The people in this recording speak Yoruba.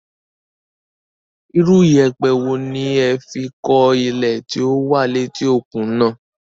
Irú iyẹ̀pẹ̀ wo ni ẹ fi kọ́ ilé tí ó wà léti òkun náà?